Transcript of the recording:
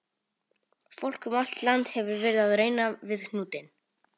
Fólk um allt land hefur verið að reyna við hnútinn.